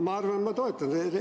Ma arvan, et ma toetan seda.